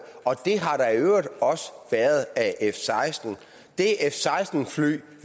og det har der i øvrigt også været af f seksten det f seksten fly